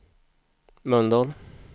Mölndal